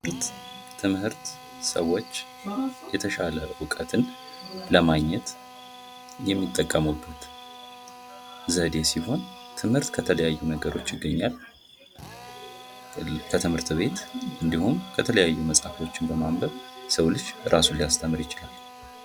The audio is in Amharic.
ትምህርት ሰዎች የተሻለ እውቀትን ለማግኘት የሚጠቀሙበት ዘዴ ሲሆን ትምህርት ከተለያዩ ነገሮች ይገኛል ከትምህርት ቤት እንንዲሁም የተለያየ መፅሀፍቶችን በማንበብ የሰው ልጅ ራሱን ሊያስተምር ይችላል።